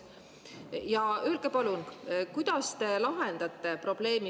Ja öelge palun, kuidas te lahendate probleemi …